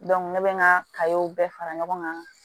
ne bɛ n ka bɛɛ fara ɲɔgɔn kan